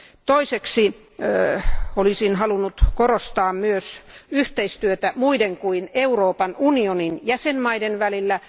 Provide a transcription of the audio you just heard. Toiseksi olisin halunnut korostaa myös yhteistyötä muiden kuin Euroopan unionin jäsenvaltioiden välillä.